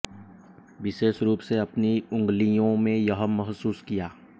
विशेष रूप से अपनी उंगलियों में यह महसूस किया